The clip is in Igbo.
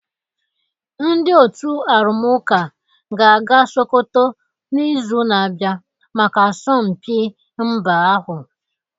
Ndị otu arụmụka ga-aga Sokoto n'izu na-abịa maka asọmpi mba ahụ